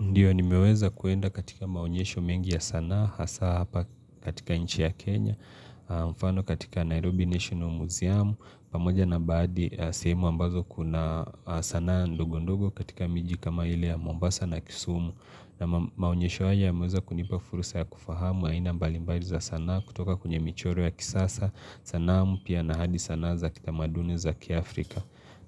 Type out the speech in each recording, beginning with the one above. Ndiyo ni meweza kuenda katika maonyesho mengi ya sanaa hasa hapa katika inchi ya Kenya, mfano katika Nairobi National Museum, pamoja na baadi seimu ambazo kuna sanaa ndogo ndogo katika miji kama ile ya Mombasa na Kisumu. Na maonyesho haja ya meweza kunipa furusa ya kufahamu haina mbali mbali za sanaa kutoka kunye michoro ya kisasa, sanaa mpia na hadi sanaa za kitamaduni za kiafrika.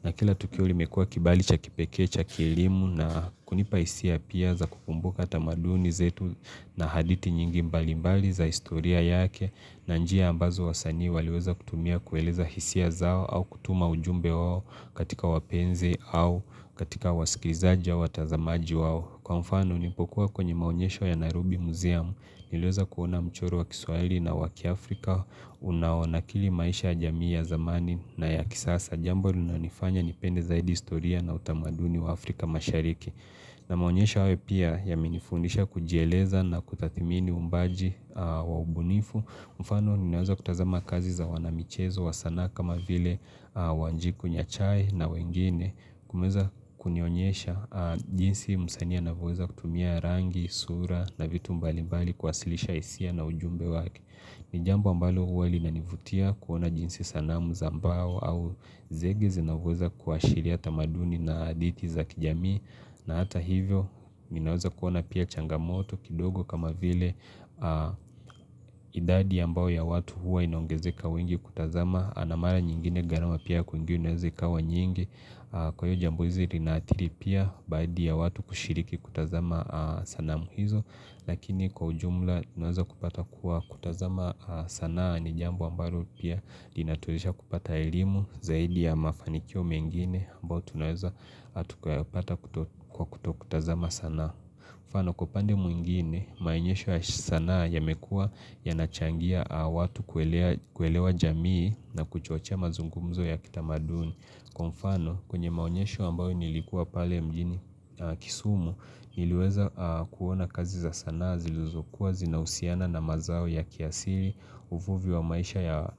Na kila tukiuli mekua kibali cha kipeke, cha kilimu na kunipaisia pia za kukumbuka tamaduni zetu na haditi nyingi mbalimbali za historia yake na njia ambazo wa sanii waliweza kutumia kueleza hisia zao au kutuma ujumbe wao katika wapenze au katika wasikizajwa watazamaji wao Kwa mfano unipokuwa kwenye maonyesho ya Nairobi Museum nilweza kuona mchoro wa kiswwali na waki Afrika unawana kili maisha jamii ya zamani na ya kisasa jambo luna nifanya nipende zaidi istoria na utamaduni wa Afrika mashariki na maonyesha wae pia yaminifundisha kujieleza na kutatimini umbaji waubunifu mfano ninaweza kutazama kazi za wanamichezo wa sana kama vile wanjiku nyachai na wengine kumeza kunionyesha jinsi msani anavyoweza kutumia rangi, sura na vitu mbali mbali kwasilisha isia na ujumbe waki ni jambu ambalo huwa linanivutia kuona jinsi sanamu za mbao au zegi zinavuweza kuashiriata maduni na aditi za kijami na hata hivyo ninaweza kuona pia changamoto kidogo kama vile idadi ambao ya watu huwa inaongezeka wengi kutazama Anamara nyingine garama pia kuingi inawezeka wa nyingi Kwa hiyo jambu hizi linatiri pia baidi ya watu kushiriki kutazama sanamu hizo Lakini kwa ujumla tunueza kupata kuwa kutazama sanaa ni jambu ambaro pia dinaturisha kupata ilimu zaidi ya mafanikio mengine mbao tunueza atukawapata kutokutazama sanaa Kupano kupande mwingine, mainyesho ya sanaa yamekua yanachangia watu kuelewa jamii na kuchocha mazungumzo ya kitamaduni Kwa mfano kwenye maonyesho ambayo nilikuwa pale mjini kisumu niliweza kuona kazi za sana ziluzokuwa zinausiana na mazao ya kiasiri uvuvi wa maisha ya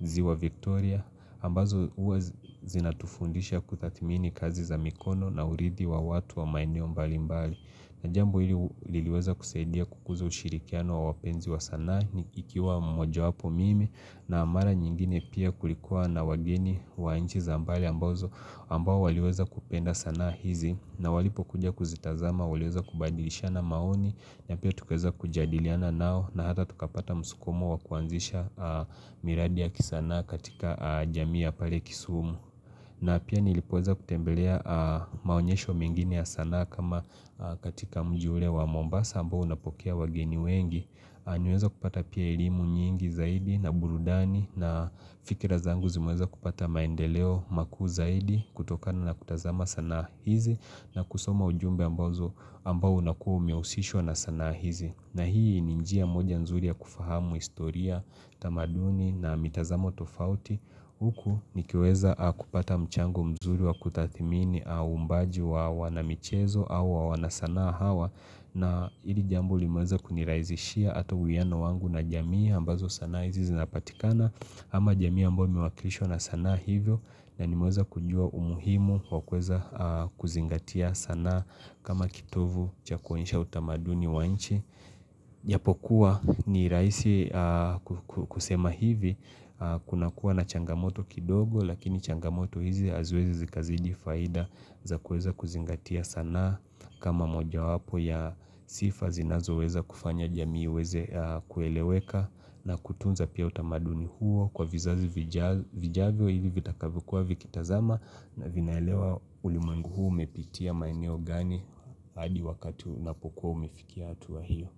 ziwa Victoria ambazo uwe zinatufundisha kutatimini kazi za mikono na uridi wa watu wa maineo mbali mbali Najambu hili liweza kuseidia kukuzo ushirikiano wa wapenzi wa sanaa nikikiwa mojo wapo mimi na mara nyingine pia kulikuwa na wageni wa inchi za mbale ambazo ambao waliweza kupenda sanaa hizi na walipo kuja kuzitazama waliweza kubadilishana maoni na pia tukueza kujadiliana nao na hata tukapata musukumo wakuanzisha miradi ya kisanaa katika jamii ya pale kisumu. Na pia nilipoza kutembelea maonyesho mingine ya sana kama katika mjule wa Mombasa ambao unapokea wageni wengi. Aniweza kupata pia ilimu nyingi zaidi na burudani na fikira zangu zimweza kupata maendeleo maku zaidi kutokana na kutazama sana hizi na kusoma ujumbe ambazo ambao unakua umehusisho na sana hizi. Na hii ninjia moja nzuri ya kufahamu istoria tamaduni na mitazamo tofauti Huku nikiweza kupata mchango mzuri wa kutathimini au mbaji wa wanamichezo au wa wanasana hawa na hili jambo limuweza kuniraisishia ato huyano wangu na jamii ambazo sana izi zinapatikana ama jamii ambome wakilisho na sana hivyo na limuweza kujua umuhimu wakweza kuzingatia sana kama kituvu cha konisha utamaduni wa nchi japokua ni raisi kusema hivi kuna kuwa na changamoto kidogo lakini changamoto hizi azwezi zikazidi faida za kueza kuzingatia sana kama moja wapo ya sifa zinazo weza kufanya jamii weze kueleweka na kutunza pia utamaduni huo kwa vizazi zijazo vijavyo hivi vitakavikuwa vikitazama na vinaelewa ulimwengu huu umepitia maeneo gani hadi wakati unapokuwa umefikia atuwa hiyo.